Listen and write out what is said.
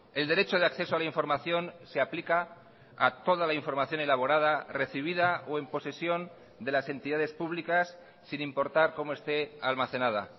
el derecho de acceso a la información se aplica a toda la información elaborada recibida o en posesión de las entidades públicas sin importar cómo esté almacenada